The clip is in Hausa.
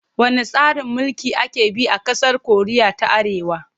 Wanne tsarin mulki ake bi a ƙasar Koriya ta Arewa?